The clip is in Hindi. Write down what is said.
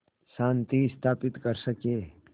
शांति स्थापित कर सकें